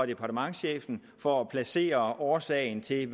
departementschefen for at placere årsagen til at